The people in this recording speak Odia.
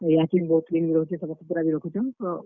ଇହାଚିନି ବହୁତ୍ clean ବି ରହୁଛେ, ସଫା ସୁତ୍ ରା ବି ରଖୁଛନ୍ ।